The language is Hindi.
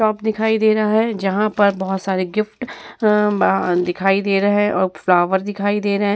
शॉप दिखाई दे रहा है जहाँ पर बहुत सारे गिफ्ट अ अ दिखाई दे रहे और फ्लॉवर दिखाई दे रहे --